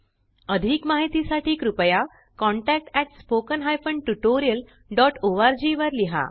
अधिक माहिती साठी कृपया contactspoken tutorialorg वर लिहा